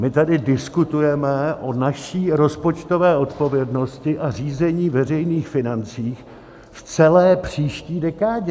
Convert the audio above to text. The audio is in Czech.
My tady diskutujeme o naší rozpočtové odpovědnosti a řízení veřejných financí v celé příští dekádě.